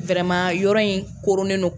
Wɛrɛman yɔrɔ in koronen don